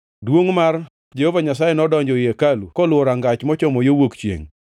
Duongʼ mar Jehova Nyasaye nodonjo ei hekalu koluwo rangach mochomo yo wuok chiengʼ.